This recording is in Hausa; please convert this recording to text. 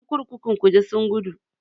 Ƴan kurkukun kuje sun gudu.